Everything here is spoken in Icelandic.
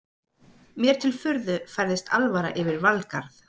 Mér til furðu færist alvara yfir Valgarð.